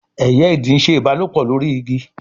eye Ìdì nṣe ìbálòpọ̀ lórí Igi.